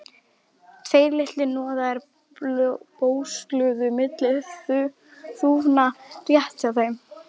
Tveir litlir hnoðrar bösluðu milli þúfna rétt hjá þeim.